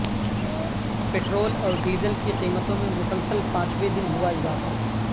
petrol اور diesel کی قیمتوں میں مسلسل پانچویں دن ہوا اضافہ